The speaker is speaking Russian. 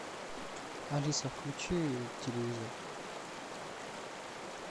алиса включи телевизор